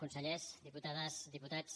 consellers diputades diputats